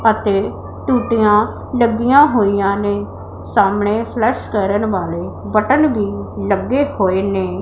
ਅਤੇ ਟੂਟੀਆਂ ਲੱਗੀਆਂ ਹੋਈਆਂ ਨੇਂ ਸਾਹਮਣੇ ਫਲੱਸ਼ ਕਰਨ ਵਾਲੇ ਬਟਨ ਵੀ ਲੱਗੇ ਹੋਏ ਨੇਂ।